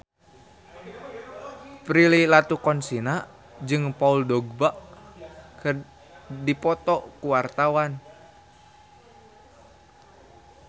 Prilly Latuconsina jeung Paul Dogba keur dipoto ku wartawan